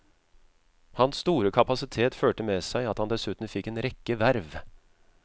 Hans store kapasitet førte med seg at han dessuten fikk en rekke verv.